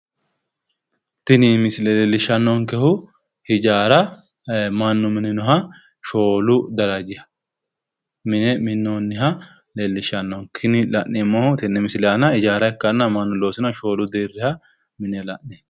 Tini misile leellishshannonkehu ijaara Mannu mininoha Shoolu deerriha ikkasi xawissannonke. Tini misile leellishshannonkehu ijaara Mannu mininoha Shoolu deerrihamine la'neemmo.